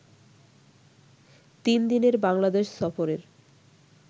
তিন দিনের বাংলাদেশ সফরের